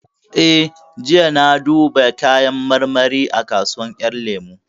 Eh, jiya na duba kayan marmari a kasuwar ƴan lemu